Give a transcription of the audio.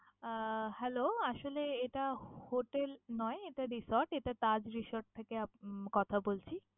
আহ Hello আসলে এটা hotel নয়, এটা resort । এটা Taj resort থেকে উম কথা বলছি।